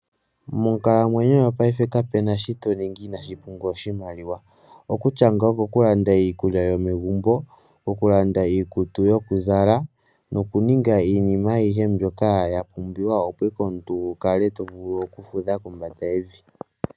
Monkalamwenyo yopayife kape na shi to ningi inashi pumbwa oshimaliwa. Okutya nga okokulanda iikulya yomegumbo, okulanda iikutu yokuzala nokuninga iinima ayihe mbyoka ya pumbiwa, opo ike omuntu wu kale to vulu okufudha kombanda yevi.